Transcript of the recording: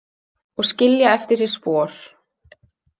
Og skilja eftir sig spor.